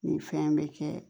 Nin fɛn in bɛ kɛ